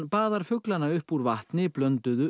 baðar fuglana upp úr vatni blönduðu